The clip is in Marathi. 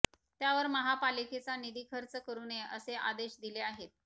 त्यावर महापालिकेचा निधी खर्च करू नये असे आदेश दिले आहेत